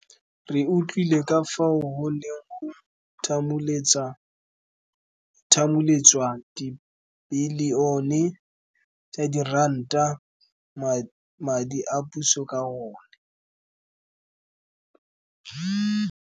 Re utlwile ka fao go neng go thamuletswa dibilione tsa diranta tsa madi a puso ka one.